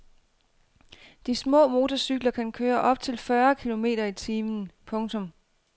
De små motorcykler kan køre op til fyrre kilometer i timen. punktum